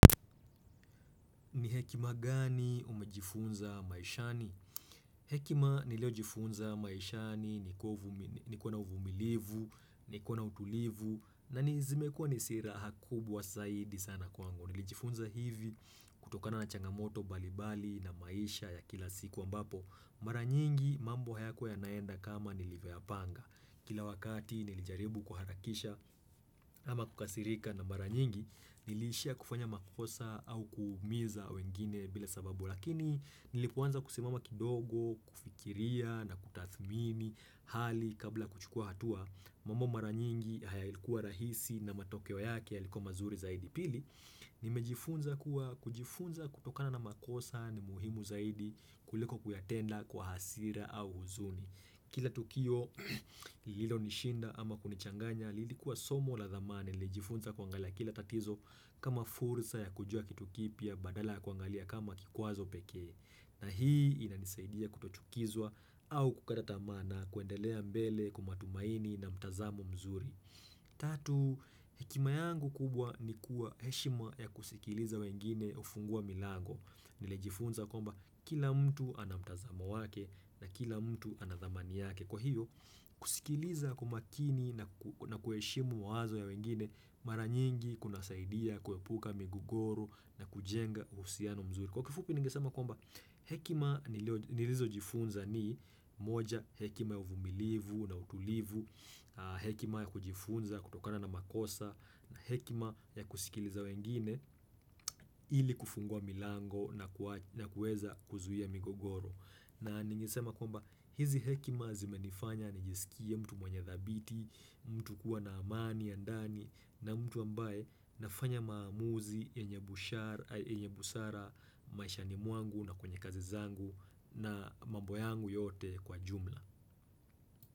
Ni hekima gani umejifunza maishani? Hekima niliojifunza maishani, ni kuwa na uvumilivu, ni kuwa na utulivu, na ni zimekua ni silaha kubwa zaidi sana kwangu. Nilijifunza hivi kutokana na changamoto mbalimbali na maisha ya kila siku ambapo. Mara nyingi mambo hayakuwa yanaenda kama nilivyoyapanga. Kila wakati nilijaribu kuharakisha ama kukasirika na mara nyingi nilishia kufanya makosa au kuumiza wengine bila sababu lakini nilipoanza kusimama kidogo, kufikiria na kutathmini hali kabla kuchukua hatua mambo mara nyingi haya ilikuwa rahisi na matokeo yake yalikuwa mazuri zaidi pili. Nimejifunza kuwa kujifunza kutokana na makosa ni muhimu zaidi kuliko kuyatenda kwa hasira au huzuni Kila tukio lilonishinda ama kunichanganya lilikuwa somo la thamani. Nilijifunza kuangalia kila tatizo kama fursa ya kujua kitu kipya badala ya kuangalia kama kikwazo pekee. Na hii inanisaidia kutochukizwa au kukata tamana kuendelea mbele kwa matumaini na mtazamo mzuri Tatu, hekima yangu kubwa ni kuwa heshima ya kusikiliza wengine hufungua milango Nilijifunza kwamba kila mtu ana mtazamo wake na kila mtu anathamani yake Kwa hiyo, kusikiliza kumakini na na kuheshimu wazo ya wengine mara nyingi kunasaidia kuepuka migugoro na kujenga uhusiano mzuri. Kwa kifupi ningesema kwamba hekima nilizojifunza ni moja hekima ya uvumilivu na utulivu, hekima ya kujifunza kutokana na makosa na hekima ya kusikiliza wengine ili kufungua milango na kuweza kuzuia migogoro. Na ningesema kwamba hizi hekima zimenifanya nijisikie mtu mwenye dhabiti, mtu kuwa na amani, ya ndani na mtu ambaye nafanya maamuzi, yenye busara, maishani mwangu na kwenye kazi zangu na mambo yangu yote kwa jumla.